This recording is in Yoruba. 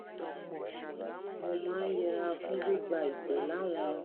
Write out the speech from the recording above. mo máa ń yẹra fún gbígba ìpè láwọn